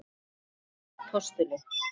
Páll postuli?